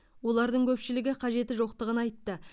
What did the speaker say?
олардың көпшілігі қажеті жоқтығын айтты